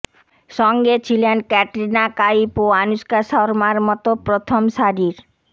সঙ্গে ছিলেন ক্যাটরিনা কাইফ ও আনুশকা শর্মার মতো প্রথম সারির